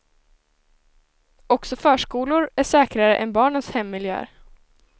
Också förskolor är säkrare än barnens hemmiljöer.